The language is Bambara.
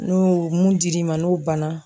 N'o mun dir'i ma n'o banna